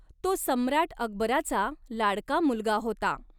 तो सम्राट अकबराचा लाडका मुलगा होता.